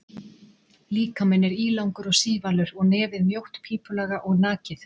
Líkaminn er ílangur og sívalur og nefið mjótt, pípulaga og nakið.